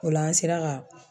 O la an sera ka